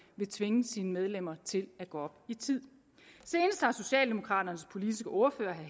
vil tvinge sine medlemmer til at gå op i tid senest har socialdemokraternes politiske ordfører